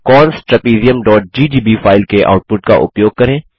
cons trapeziumजीजीबी file के output का उपयोग करें